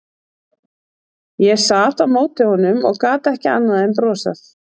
Ég sat á móti honum og gat ekki annað en brosað.